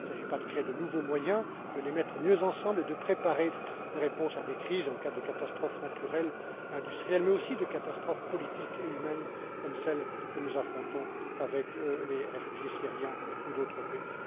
Il ne s'agit pas de créer de nouveaux moyens mais de les mettre mieux ensemble et de préparer une réponse à des crises en cas de catastrophe naturelle, industrielle mais aussi de catastrophe politique et humaine comme celle que nous affrontons avec les réfugiés syriens ou d'autres